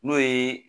N'o ye